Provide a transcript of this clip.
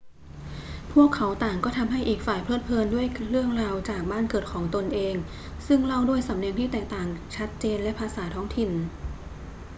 พวกเขาต่างก็ทำให้อีกฝ่ายเพลิดเพลินด้วยเรื่องราวจากบ้านเกิดของตนเองซึ่งเล่าด้วยสำเนียงที่แตกต่างชัดเจนและภาษาท้องถิ่น